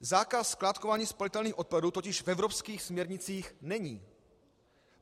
Zákaz skládkování spalitelných odpadů totiž v evropských směrnicích není.